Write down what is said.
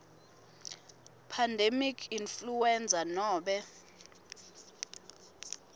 pandemic influenza nobe